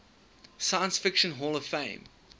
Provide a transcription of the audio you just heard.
science fiction hall of fame